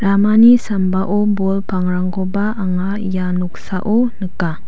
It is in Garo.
ramani sambao bol pangrangkoba anga ia noksao nika.